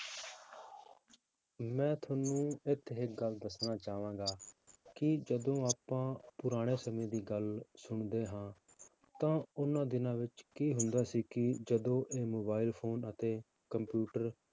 ਮੈਂ ਤੁਹਾਨੂੰ ਇੱਥੇ ਇੱਕ ਗੱਲ ਦੱਸਣਾ ਚਾਹਾਂਗਾ ਕਿ ਜਦੋਂ ਆਪਾਂ ਪੁਰਾਣੇ ਸਮੇਂ ਦੀ ਗੱਲ ਸੁਣਦੇ ਹਾਂ ਤਾਂ ਉਹਨਾਂ ਦਿਨਾਂ ਵਿੱਚ ਕੀ ਹੁੰਦਾ ਸੀ ਕਿ ਜਦੋਂ ਇਹ mobile phone ਅਤੇ computer